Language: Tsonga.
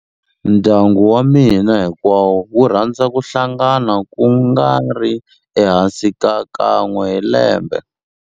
Ndyangu wa mina hinkwawo wu rhandza ku hlangana ku nga ri ehansi ka kan'we hi lembe.